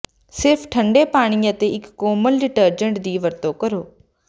ਸਿਰਫ ਠੰਡੇ ਪਾਣੀ ਅਤੇ ਇਕ ਕੋਮਲ ਡਿਟਰਜੈਂਟ ਦੀ ਵਰਤੋਂ ਕਰੋ